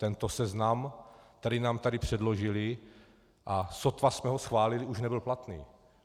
Tento seznam, který nám tady předložili, a sotva jsme ho schválili, už nebyl platný.